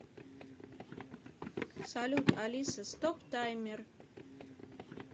салют алиса стоп таймер